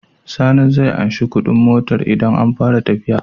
Sani zai anshi Ƙudin motar idan an fara tafiya